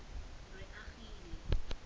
reagile